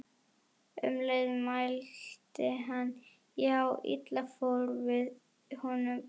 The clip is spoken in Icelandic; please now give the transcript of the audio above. Um leið mælti hann: Já, illa fór fyrir honum þessum